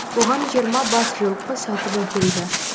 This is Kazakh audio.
оған жиырма бас жылқы сатып әкелді